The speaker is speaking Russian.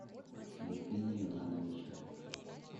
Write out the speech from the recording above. евгения ивановича